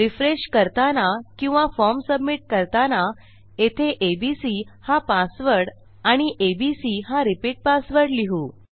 refresh करताना किंवा form submit करताना येथे एबीसी हा पासवर्ड आणि एबीसी हा रिपीट पासवर्ड लिहू